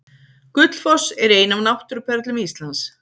Gullfoss er ein af náttúruperlum Íslands.